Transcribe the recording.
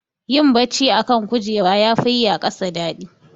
Yin bacci a kan kujera yafi yi a ƙasa daɗi.